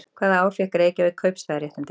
Hvaða ár fékk Reykjavík kaupstaðaréttindi?